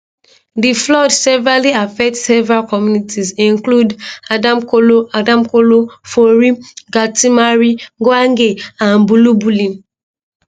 di flood severely affect several communities include adamkolo adamkolo fori galtimari gwange and bulabulin